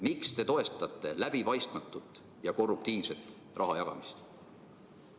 Miks te toetate läbipaistmatut ja korruptiivset raha jagamist?